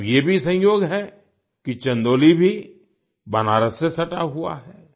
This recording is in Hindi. अब ये भी संयोग है कि चंदौली भी बनारस से सटा हुआ है